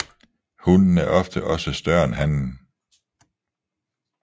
Hunnen er ofte også større end hannen